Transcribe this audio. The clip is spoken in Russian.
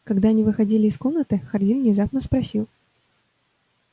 когда они выходили из комнаты хардин внезапно спросил